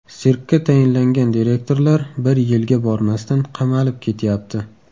Sirkka tayinlangan direktorlar bir yilga bormasdan qamalib ketyapti.